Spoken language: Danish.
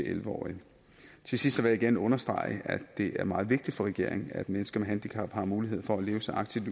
elleve årige til sidst vil jeg gerne understrege at det er meget vigtigt for regeringen at mennesker med handicap har mulighed for at leve så aktivt